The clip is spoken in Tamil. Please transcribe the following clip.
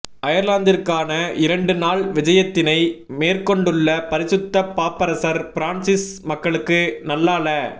அயர்லாந்திற்கான இரண்டு நாள் விஜயத்தினை மேற்கொண்டுள்ள பரிசுத்த பாப்பரசர் பிரான்சிஸ் மக்களுக்கு நல்லால